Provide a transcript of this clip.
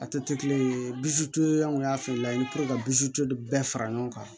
A tɛ kelen ye an kun y'a fɛn lajɛ i bi to ka bɛɛ fara ɲɔgɔn kan